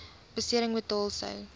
besering betaal sou